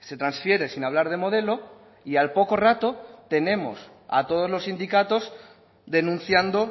se transfiere sin hablar de modelo y al poco rato tenemos a todos los sindicatos denunciando